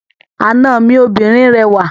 Àna mi obìnrin rẹwà.